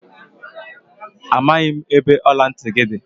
Amaghị m ebe ọla ntị gị dị.